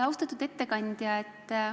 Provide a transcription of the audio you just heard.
Austatud ettekandja!